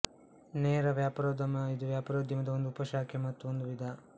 ನೇರ ವ್ಯಾಪಾರೋದ್ಯಮ ಇದು ವ್ಯಾಪಾರೋದ್ಯಮದ ಒಂದು ಉಪಶಾಖೆ ಮತ್ತು ಒಂದು ವಿಧ